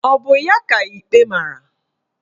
Ọ bụ ya ka ikpe mara?